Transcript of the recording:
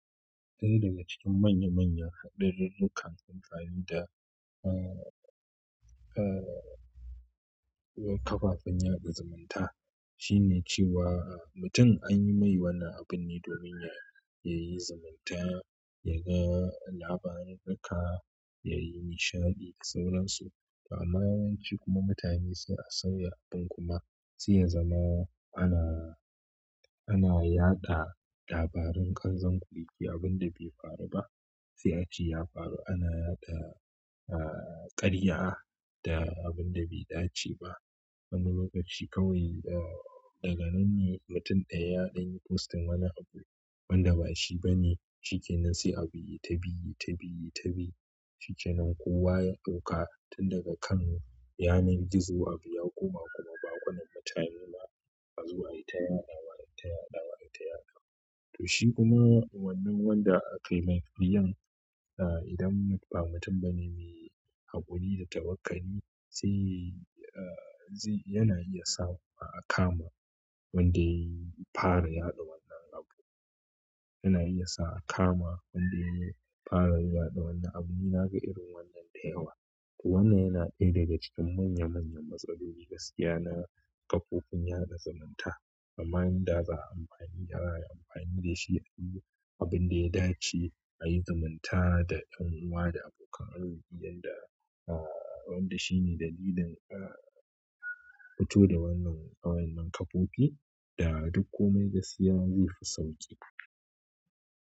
Ɗaya daga cikin manya manyan haɗaririka da kan kunkari da, uh, uh, kafafen yaɗa zumunta shine cewa mutum an yi mai wani abin ne domin ya, ya yi zumunta, ya ga labaran haka, ya yi nishaɗi da sauransu. Amma yawanci kuma mutane sai a sauya abin kuma sai ya zama ana, ana yaɗa labarun qanzon kurege abin da bai faru ba sai a ce ya faru. Ana yaɗa, uh, ƙarya da abin da bai dace ba. Wani lokaci kawai, uh, daga nan ne mutum ɗaya yadanyi postin wani abu wanda ba shi ba ne. Shike nan sai abu ya yi ta bi, ta bi, ta bi. Shike nan kowa ya ɗauka tun daga kan yanar gizo abu ya koma kuma bakunan mutane ma ba azo ayita yaɗawa, ayita yaɗawa, ayita yaɗawa. To shi kuma wannan wanda aƙaiman biyan, uh, idan ba mutum ba ne mai haƙuri da tawakkali sai, uh, yana iya sawa a kama wanda ya fara yaɗa wannan abu. Yana iya sa a kama wanda ya fara yaɗa wannan abu. Na ga irin wannan da yawa. To wannan yana ɗaya daga cikin manya manyan matsaloli gaskiya na kafofin yaɗa zumunta. Amma yanzu za a yi amfani da, amfani da shi a yi abin da ya dace, a yi zumunta da ƴan uwa da abokan arziki yanda, uh, wanda shi ne dalilin, uh, fito da wannan, wannan kafofi da duk kome gaskiya zai fi sauƙi.